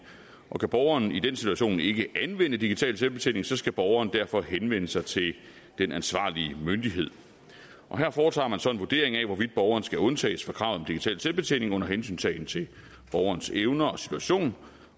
og kan borgeren i den situation ikke anvende digital selvbetjening skal borgeren derfor henvende sig til den ansvarlige myndighed her foretager man så en vurdering af hvorvidt borgeren skal undtages fra kravet om digital selvbetjening under hensyntagen til borgerens evner og situation